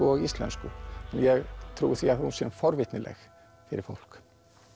og íslensku ég trúi því að hún sé forvitnileg fyrir fólk